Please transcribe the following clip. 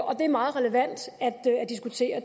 og det er meget relevant at diskutere